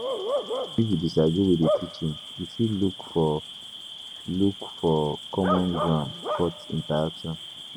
Even if you disagree with di teaching, you fit look for look for common ground fot interaction